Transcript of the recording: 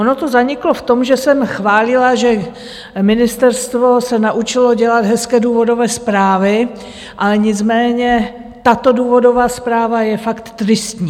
Ono to zaniklo v tom, že jsem chválila, že ministerstvo se naučilo dělat hezké důvodové zprávy, ale nicméně tato důvodová zpráva je fakt tristní.